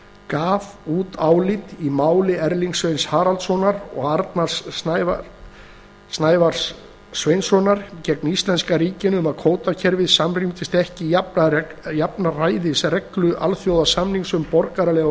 gaf út álit í máli erlings sveins haraldssonar og arnars snævars sveinssonar gegn íslenska ríkinu um að kvótakerfið samrýmdist ekki jafnræðisreglu alþjóðasamnings um borgaraleg og